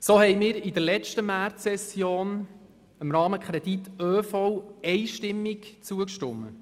So haben wir während der letzten Märzsession dem Rahmenkredit ÖV einstimmig zugestimmt.